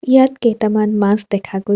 ইয়াত কেইটামান মাছ দেখা গৈ--